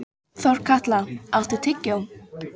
Þorkatla, áttu tyggjó?